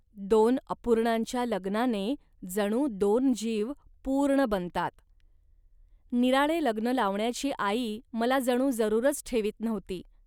दोन अपूर्णांच्या लग्नाने दोन पूर्ण जीव जणू बनतात. निराळे लग्न लावण्याची आई मला जणू जरूरच ठेवीत नव्हती